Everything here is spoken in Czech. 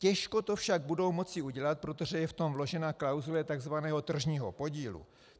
Těžko to však budou moci udělat, protože je v tom vložena klauzule tzv. tržního podílu.